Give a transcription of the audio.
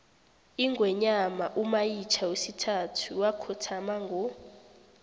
ingwenyama umayitjha wesithathu wakhothama ngo